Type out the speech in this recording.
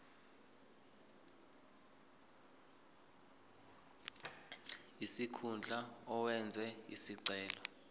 sikhundla owenze isicelo